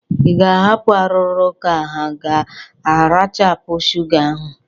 Ị ga-ahapụ arụrụ ka ha rachapụ shụga ahụ?